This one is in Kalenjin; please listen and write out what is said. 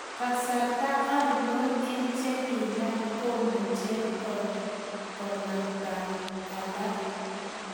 Kasartai anoo eng chenginap komucheng konamtang alak?